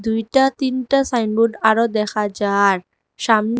দুইটা তিনটা সাইনবোর্ড আরও দেখা যার সাম--